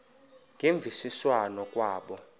ngemvisiswano r kwabo